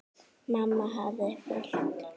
Mamma hafði fylgt